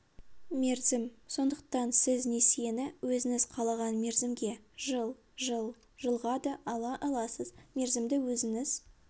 мерзім сондықтан сіз несиені өзіңіз қалаған мерзімге жыл жыл жылға да ала аласыз мерзімді өзіңіз